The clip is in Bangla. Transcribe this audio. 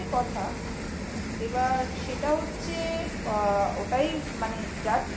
কথা এবার সেটা হচ্ছে ওটাই মানে